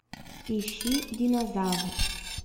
ищи динозавр